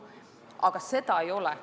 Seda paketti ei ole.